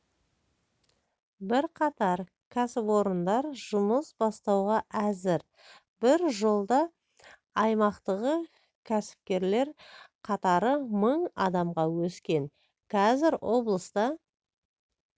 бірқатар кәсіпорындар жұмыс бастауға әзір бір жылда аймақтағы кәсіпкерлер қатары мың адамға өскен қазір облыста